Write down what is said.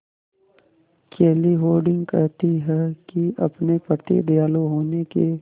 केली हॉर्डिंग कहती हैं कि अपने प्रति दयालु होने के